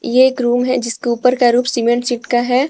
ये एक रूम है जिसके ऊपर का रूफ सीमेंट सीट का है।